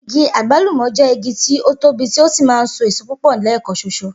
Igi àgbálùmò̩ jé̩ igi tí ó tóbi tí ó sì máa ń so èso púpò̩ lé̩è̩kan s̩os̩o